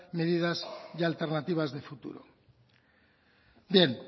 medidas y alternativas de futuro bien